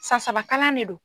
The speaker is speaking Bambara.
Sansaba kalan de do.